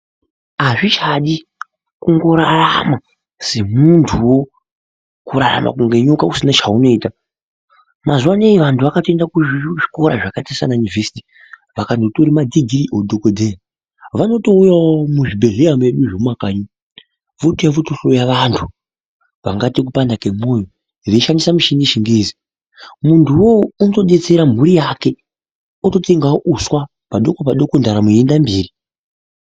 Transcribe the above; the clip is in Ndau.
Azvichadi kungorarama semuntuwo, kurarama kunge nyoka usina cheunoita. Mazuva anaya vantu vakatoenda kuzvikora zvakaita saana yunivhesiti, vakandotore madhigirii oudhokodheya. Vanotouyawo muzvibhedhleya zvedu zvemumakanyi, votouya votohloya vantu vangaite kupanda kemwoyo veishandisa mishini yeChiNgezi. Muntu uwowo unotodetsera mhuri yake, ototengawo uswa, padoko padoko ndaramo yeienda mberi.